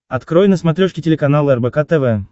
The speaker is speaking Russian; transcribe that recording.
открой на смотрешке телеканал рбк тв